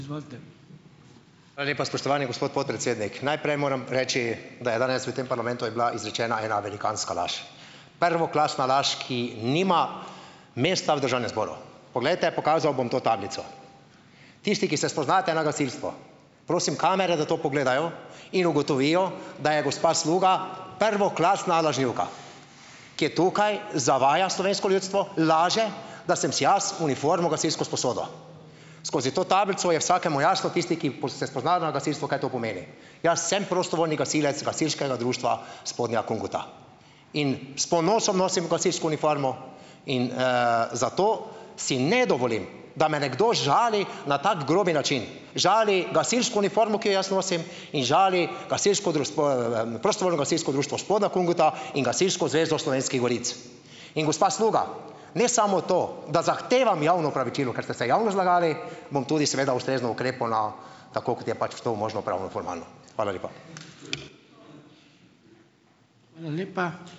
Hvala lepa, spoštovani gospod podpredsednik. Najprej moram reči, da je danes v tem parlamentu je bila izrečena ena velikanska laž. Prvoklasna laž, ki nima mesta v državnem zboru. Poglejte, pokazal bom to tablico. Tisti, ki se spoznate na gasilstvo, prosim kamere, da to pogledajo in ugotovijo, da je gospa Sluga prvoklasna lažnivka. Ki je tukaj, zavaja slovensko ljudstvo, laže, da sem si jaz uniformo gasilsko sposodil. Skozi to tablico je vsakemu jasno, tisti, ki se spozna na gasilstvo, kaj to pomeni. Jaz sem prostovoljni gasilec Gasilskega društva Spodnja Kungota. In s ponosom nosim gasilsko uniformo in, zato si ne dovolim, da me nekdo žali na tako grob način. Žali gasilsko uniformo, ki jo jaz nosim, in žali Gasilsko Prostovoljno gasilsko društvo Spodnja Kungota in Gasilsko zvezo Slovenskih goric. In gospa Sluga - ne samo to, da zahtevam javno opravičilo, ker ste se javno zlagali, bom tudi seveda ustrezno ukrepal na - tako kot je pač to možno pravnoformalno. Hvala lepa.